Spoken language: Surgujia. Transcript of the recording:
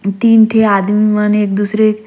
तीन ठी आदमी मन एक-दूसरे--